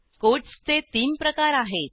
कोटसचे तीन प्रकार आहेत